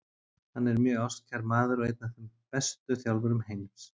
Hann er mjög ástkær maður og einn af bestu þjálfurum heims.